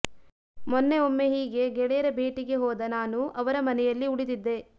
ಮೊನ್ನೆ ಒಮ್ಮೆ ಹೀಗೆ ಗೆಳೆಯರ ಭೇಟಿಗೆ ಹೋದ ನಾನು ಅವರ ಮನೆಯಲ್ಲಿ ಉಳಿದಿದ್ದೆ